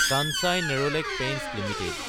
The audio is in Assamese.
Kansai Nerolac paints Ltd